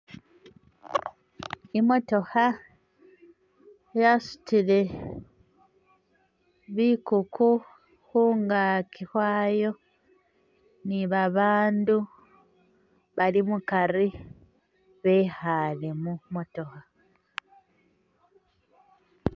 Imotookha yasutile bikuku khungaaki khwayo ni babandu bali mukari bekhale mumotookha